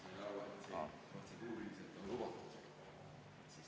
Ma sain aru, et see on protseduuriliselt lubatud.